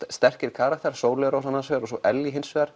sterkir karakterar Sóley Rós annars vegar og svo Ellý hins vegar